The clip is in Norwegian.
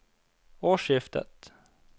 årsskiftet